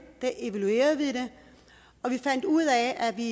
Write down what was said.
evaluerede vi det og vi fandt ud af at vi